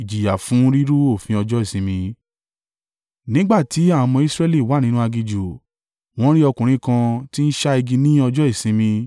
Nígbà tí àwọn ọmọ Israẹli wà nínú aginjù, wọ́n rí ọkùnrin kan tí ń ṣá igi ní ọjọ́ Ìsinmi.